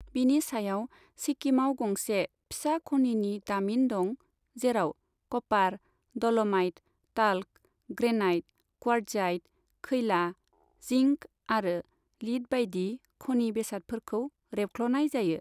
बिनि सायाव, सिक्किमाव गंसे फिसा खनिनि दामिन दं, जेराव copper, dolomite, talc, granite, quartzite, खैला, जिंक आरो लिद बायदि खनि बेसादफोरखौ रेबख्ल'नाय जायो।